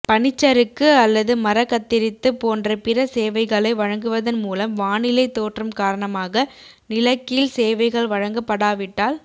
பனிச்சறுக்கு அல்லது மர கத்தரித்து போன்ற பிற சேவைகளை வழங்குவதன் மூலம் வானிலை தோற்றம் காரணமாக நிலக்கீல் சேவைகள் வழங்கப்படாவிட்டால்